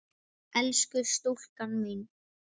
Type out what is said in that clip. Elsku stúlkan mín